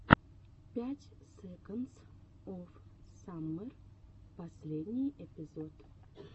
пять секондс оф саммер последний эпизод